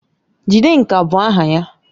Jidenka bụ aha ya